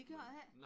Det gør det ikke?